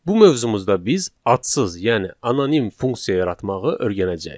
Bu mövzumuzda biz adsız, yəni anonim funksiya yaratmağı öyrənəcəyik.